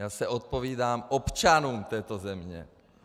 Já se odpovídám občanům této země!